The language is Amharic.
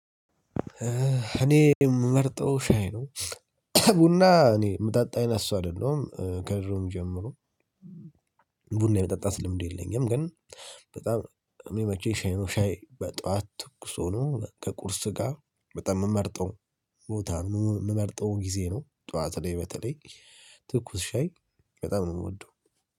እኔ የምመርጠው ሻይ ነው። ቡና እኔ የምጠጣ አይነትጨሰው አይደለሁም ከድሮም ጀምሮ። ቡና የመጠጣት ልምድ የለኝም ግን በጣም የሚመቸኝ ሻይ ነው። ሻይ በጧት ትኩስ ሆኖ ከቁርስ ጋር በጣም የምመርጠው ቦታ የምመርጠው ጊዜ ነው። ጠዋት ላይ በተለይ ትኩስ ሻይ በጣም ነው የምወደው።